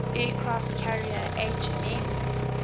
aircraft carrier hms